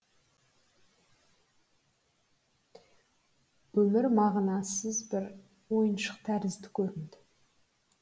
өмір мағынасыз бір ойыншық тәрізді көрінді